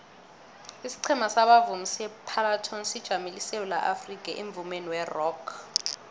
isiqhema sabavumi separlatones sijamele isewula afrikha emvumeni werock